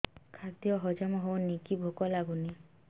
ଖାଦ୍ୟ ହଜମ ହଉନି କି ଭୋକ ଲାଗୁନି